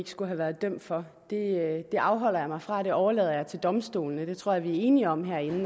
skulle have været dømt for det det afholder jeg mig fra det overlader jeg til domstolene det tror jeg vi er enige om herinde